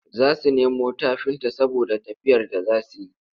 Za su nemo tafinta saboda tafiyar da za su yi.